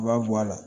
I b'a bɔ a la